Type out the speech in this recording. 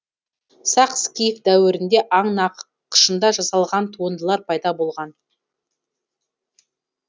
сақ скиф дәуірінде аң нақышында жасалған туындылар пайда болған